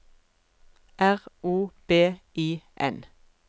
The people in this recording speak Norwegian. R O B I N